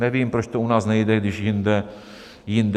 Nevím, proč to u nás nejde, když jinde to jde.